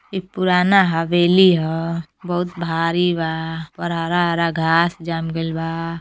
ई पुराना हवेली ह। बहुत भारी बा और हरा हरा घांस जाम गइल बा।